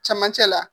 Cɛmancɛ la